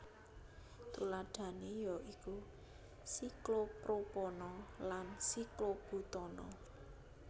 Tuladhané ya iku siklopropana lan siklobutana